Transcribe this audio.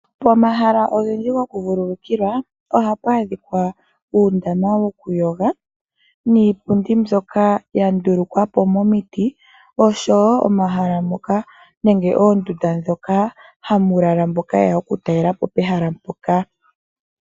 Pomahala ogendji go ku vululukilwa ohapu adhika uundama wokuyoga niipundi mbyoka yandulukwapo mo miti oshowo momahala moka nenge oondanda dhoka hamulala mboka yeya okutalelapo pehala mpoka.